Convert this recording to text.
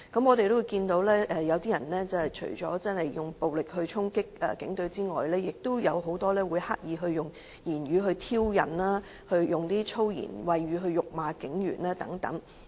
我們除了看到有些人以暴力衝擊警隊外，亦有很多人刻意以言語挑釁及以粗言穢語辱罵警員等。